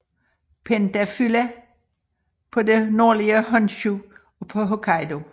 Pentaphylla på det nordlige Honshu og på Hokkaido